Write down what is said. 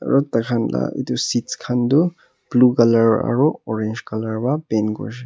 aro taikhan la etu seats khan toh blue colour aro orange colour pa paint kurishe.